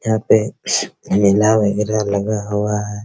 यहाँ पे मेला वगैरा लगा हुआ है ।